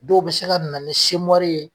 Dɔw bɛ se ka na ni ye